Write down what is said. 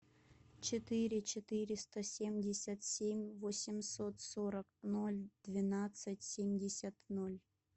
четыре четыреста семьдесят семь восемьсот сорок ноль двенадцать семьдесят ноль